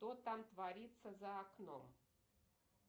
что там творится за окном